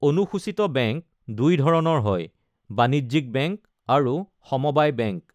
অনুসূচীত বেংক দুই ধৰণৰ হয়, বাণিজ্যিক বেংক আৰু সমবায় বেংক।